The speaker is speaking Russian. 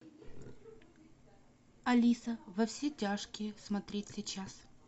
алиса во все тяжкие смотреть сейчас